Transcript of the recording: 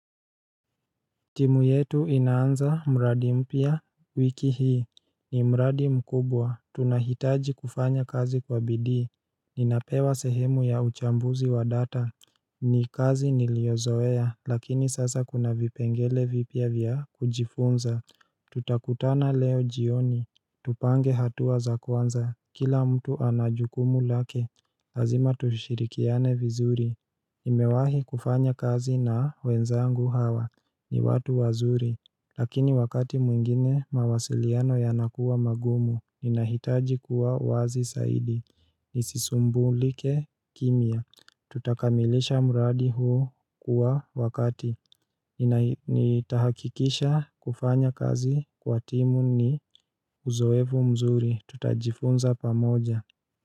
Timu yetu inaanza mradi mpya wiki hii ni mradi mkubwa, tunahitaji kufanya kazi kwa bidii Ninapewa sehemu ya uchambuzi wa data ni kazi niliozoea lakini sasa kuna vipengele vipya vya kujifunza Tutakutana leo jioni Tupange hatua za kwanza, kila mtu ana jukumu lake Hazima tushirikiane vizuri Imewahi kufanya kazi na wenzangu hawa ni watu wazuri Lakini wakati mwingine mawasiliano yanakuwa magumu Ninahitaji kuwa wazi saidi Nisisumbulike kimya Tutakamilisha muradi huo kwa wakati Nitahakikisha kufanya kazi kwa timu ni uzoefu mzuri Tutajifunza pamoja.